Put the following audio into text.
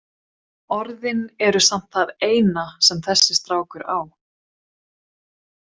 Orðin eru samt það eina sem þessi strákur á.